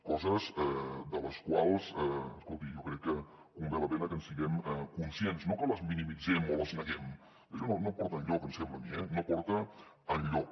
coses de les quals escolti jo crec que val la pena que en siguem conscients no que les minimitzem o les neguem que això no porta enlloc em sembla a mi eh no porta enlloc